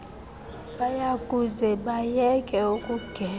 bayakuze bayeke ukugeza